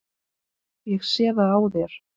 Ég sé það á þér.